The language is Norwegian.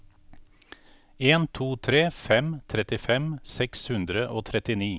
en to tre fem trettifem seks hundre og trettini